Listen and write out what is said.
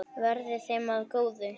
Verði þeim að góðu.